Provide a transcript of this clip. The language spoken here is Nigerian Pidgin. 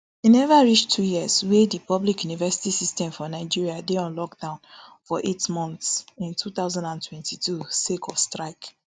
e neva reach two years wey di public university system for nigeria dey on lockdown for eight months in two thousand and twenty-two sake of strike